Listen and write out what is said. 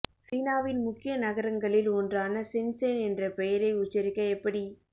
சீனாவின் முக்கிய நகரங்களில் ஒன்றான சென்சென் என்ற பெயரை உச்சரிக்க எப்படி